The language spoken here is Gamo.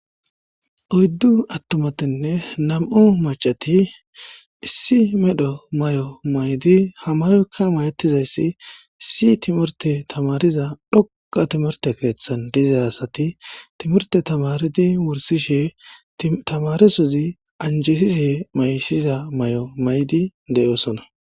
oyddu attomatinne nam7u macati issi medho may7o maydi hamayoykka mayettizayssi issi timorte tamariza dhoqa timorte keeththan diza asati timorte tamaridi wursishe tamaresozi anjesize maysiza may7o maydi de7oosona